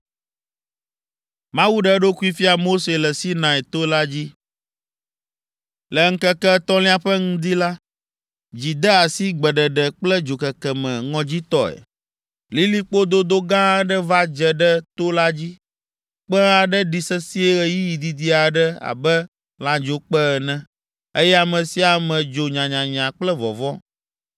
Le ŋkeke etɔ̃lia ƒe ŋdi la, dzi de asi gbeɖeɖe kple dzokeke me ŋɔdzitɔe. Lilikpo dodo gã aɖe va dze ɖe to la dzi. Kpẽ aɖe ɖi sesĩe ɣeyiɣi didi aɖe abe lãdzokpẽ ene, eye ame sia ame dzo nyanyanya kple vɔvɔ̃.